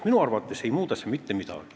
Minu arvates ei muuda see mitte midagi.